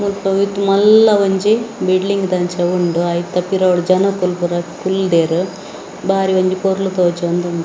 ಮುಲ್ಪ ವಿತ್ ಮಲ್ಲ ಒಂಜಿ ಬಿಲ್ಡಿಂಗ್‌ ದಂಚ ಉಂಡು ಐತ ಪಿರಾವುಡು ಜನಕ್ಕುಲು ಪೂರ ಕುಲ್ದೇರ್‌ ಬಾರಿ ಒಂಜಿ ಪೊರ್ಲು ತೋಜೋಂದುಂಡು.